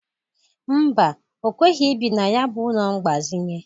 Mba, o kweghi ibi na ya bụ ụlọ mgbazịnye.